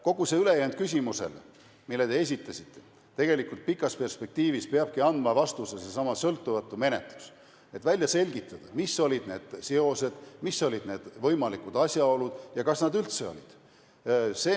Kogu see ülejäänud küsimus, mille te esitasite – tegelikult pikas perspektiivis peabki andma vastuse seesama sõltumatu menetlus, et välja selgitada, mis olid need seosed, mis olid need võimalikud asjaolud ja kas neid üldse oli.